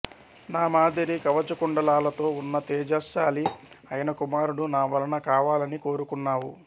నా మాదిరి కవచకుండలాలతో ఉన్న తేజశ్శాలి అయిన కుమారుడు నా వలన కావాలని కోరుకున్నావు